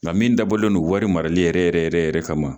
Nka min dabɔlen non wari marali yɛrɛ yɛrɛ yɛrɛ yɛrɛ kama